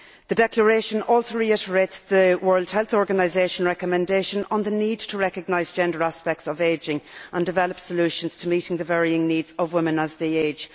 The Declaration also reiterates the World Health Organisation's recommendation on the need to recognise gender aspects of aging and develop solutions to meeting the varying needs of women as they age.